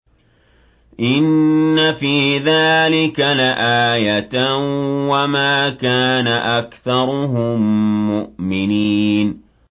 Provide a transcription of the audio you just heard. إِنَّ فِي ذَٰلِكَ لَآيَةً ۖ وَمَا كَانَ أَكْثَرُهُم مُّؤْمِنِينَ